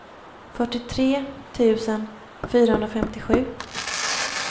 fyrtiotre tusen fyrahundrafemtiosju